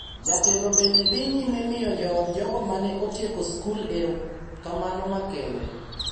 Jatelono bende dhi nyime miyo jood jogo ma ne otieko skul erokamano makende,